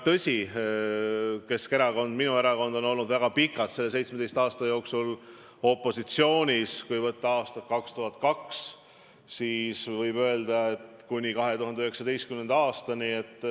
Tõsi, Keskerakond, minu erakond oli, kui arvutada alates aastast 2002, selle 17 aasta jooksul väga pikalt opositsioonis.